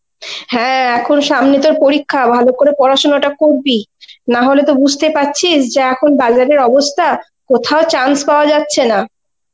হ্যাঁ এখন সামনে তোর পরীক্ষা, ভালো করে পড়াশোনাটা করবি. নাহলে তো বুঝতেই পারছিস যা এখন বাজারের অবস্থা কোথাও chance পাওয়া যাচ্ছে না.